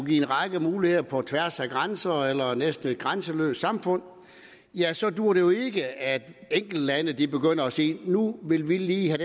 give en række muligheder på tværs af grænser eller i et næsten grænseløst samfund ja så duer det jo ikke at enkeltlande begynder at sige nu vil vi lige have